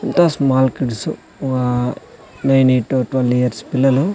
ఎంతో small kids years పిల్లలు.